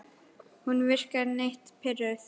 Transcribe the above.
Hún virkar nett pirruð.